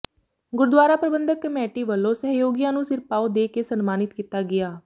ਗੁਰਦੁਆਰਾ ਪ੍ਰਬੰਧਕ ਕਮੇਟੀ ਵੱਲੋਂ ਸਹਿਯੋਗੀਆਂ ਨੂੰ ਸਿਰਪਾਓ ਦੇ ਕੇ ਸਨਮਾਨਿਤ ਕੀਤਾ ਗਿਆ